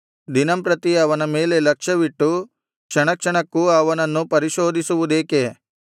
ದಿನಂಪ್ರತಿ ಅವನ ಮೇಲೆ ಲಕ್ಷ್ಯವಿಟ್ಟು ಕ್ಷಣಕ್ಷಣಕ್ಕೂ ಅವನನ್ನು ಪರಿಶೋಧಿಸುವುದೇಕೆ